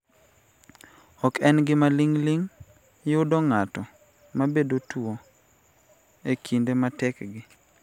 Ok en gima ling�ling� yudo ng�ato ma bedo tuo e kinde matekgi,